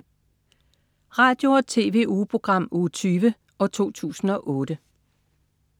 Radio- og TV-ugeprogram Uge 20, 2008